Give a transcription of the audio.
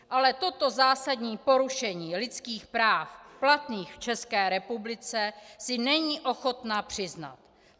Ale toto zásadní porušení lidských práv platných v České republice si není ochotna přiznat.